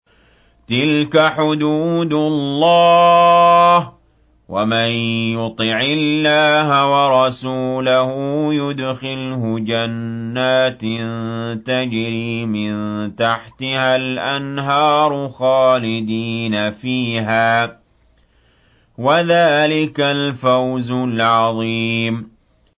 تِلْكَ حُدُودُ اللَّهِ ۚ وَمَن يُطِعِ اللَّهَ وَرَسُولَهُ يُدْخِلْهُ جَنَّاتٍ تَجْرِي مِن تَحْتِهَا الْأَنْهَارُ خَالِدِينَ فِيهَا ۚ وَذَٰلِكَ الْفَوْزُ الْعَظِيمُ